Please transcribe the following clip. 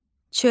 Çörək.